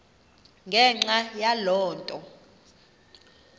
ngenxa yaloo nto